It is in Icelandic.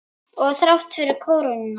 Og þrátt fyrir krónuna?